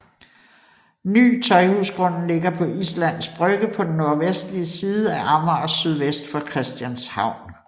Ny Tøjhusgrunden ligger på Islands Brygge på den nordvestlige side af Amager sydvest for Christianshavn